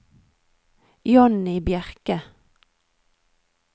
Johnny Bjerke